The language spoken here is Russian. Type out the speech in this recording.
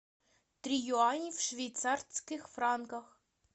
три юаней в швейцарских франках